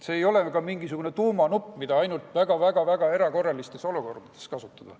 See ei ole ka mingisugune tuumanupp, mida ainult väga-väga-väga erakorralistes olukordades kasutada.